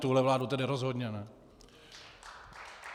Tuhle vládu tedy rozhodně ne.